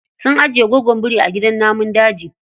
Sun ajiye gwaggon biri a gidan namun daji.